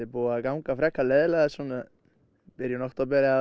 búið að ganga frekar leiðinlega svona í byrjun október